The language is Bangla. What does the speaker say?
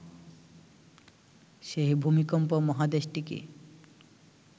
সেই ভূমিকম্প মহাদেশটিকে